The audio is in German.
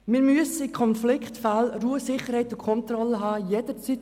Wir müssen in Konfliktfällen Ruhe, Sicherheit und Kontrolle bewahren.